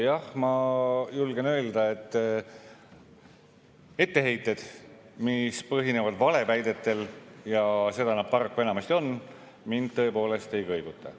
Jah, ma julgen öelda, et etteheited, mis põhinevad valeväidetel – ja seda nad paraku enamasti on –, mind tõepoolest ei kõiguta.